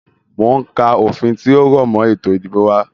Mo ń ka òfin tí ó rọ̀ mọ ètò ìdìbò wá.